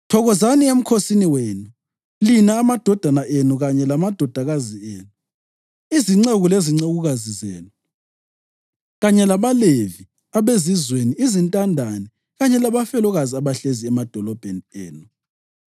Thokozani emkhosini wenu, lina, amadodana enu kanye lamadodakazi enu, izinceku lezincekukazi zenu, kanye labaLevi, abezizweni, izintandane kanye labafelokazi abahlezi emadolobheni enu.